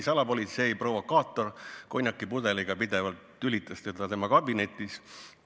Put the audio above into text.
Salapolitsei provokaator tülitas teda pidevalt tema kabinetis konjakipudeliga.